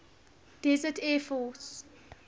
desert air force